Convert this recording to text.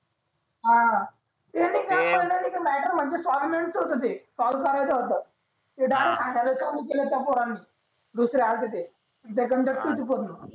हा ते नाही का सॉर्ट च नव्हते ते डायरेक्ट हणाले चालू केलं त्या पोराने दुसरे आलते ते